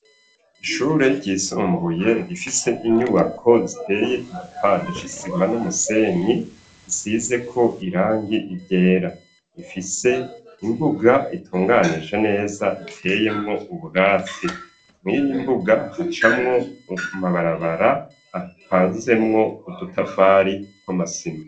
Ishure ryisumbuye rifise inyubako ziteye igipande isima n'umusenyi isizeko irangi ryera, rifise imbuga itunganije neza iteyemwo ubwatsi, mwiyi mbuga icamwo amabarabara apanzemwo udutafari na masima .